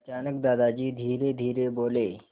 अचानक दादाजी धीरेधीरे बोले